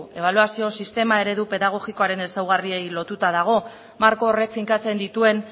ebaluazio sistema eredu pedagogiaren ezaugarriei lotuta dago marko horrek finkatzen dituen